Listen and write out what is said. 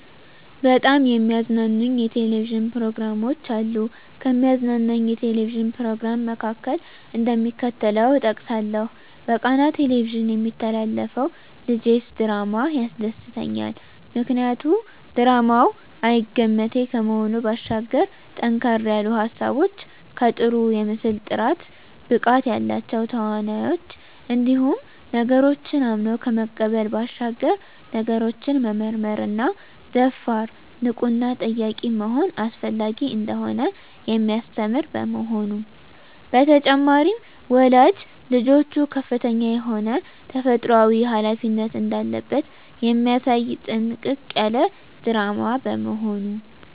በጣም የሚያዝናኑኝ የ"ቴሌቪዥን" ፕሮግራሞች አሉ፣ ከሚያዝናናኝ የ"ቴሌቪዥን" "ፕሮግራም" መካከል፣ እደሚከተለው እጠቅሳለሁ በቃና "ቴሌቪዥን" የሚተላለፈው ልጀስ ድራማ ያስደስተኛል። ምክንያቱ ድራማው አይገመቴ ከመሆኑ ባሻገር ጠንከር ያሉ ሀሳቦች ከጥሩ የምስል ጥራት፣ ብቃት ያላቸው ተዋናኞች እንዲሁም ነገሮችን አምኖ ከመቀበል ባሻገር ነገሮችን መመርመርና ደፋር፣ ንቁና ጠያቂ መሆን አስፈላጊ እንደሆነ የሚያስተምር በመሆኑ። በተጨማሪም ወላጅ ልጆቹ ከፍተኛ የሆነ ተፈጥሮአዊ ሀላፊነት እንዳለበት የሚያሳይ ጥንቅቅ ያለ ድራማ በመሆኑ።